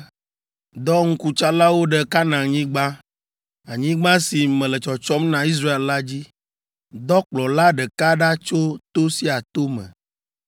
“Dɔ ŋkutsalawo ɖe Kanaanyigba, anyigba si mele tsɔtsɔm na Israel la dzi. Dɔ kplɔla ɖeka ɖa tso to sia to me.”